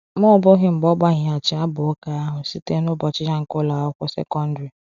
Ma ọ bụghị mgbe ọ gbaghịghachi abụ ụka ahụ site na ụbọchị ya nke ụlọ akwụkwọ sekọndrị.